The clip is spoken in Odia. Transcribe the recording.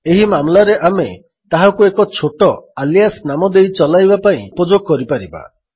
ଏହି ମାମଲାରେ ଆମେ ତାହାକୁ ଏକ ଛୋଟ ଆଲିଆସ୍ ନାମ ଦେଇ ଚଲାଇବା ପାଇଁ ଉପଯୋଗ କରିପାରିବା